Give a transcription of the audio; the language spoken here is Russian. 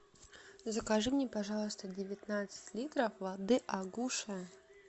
закажи мне пожалуйста девятнадцать литров воды агуша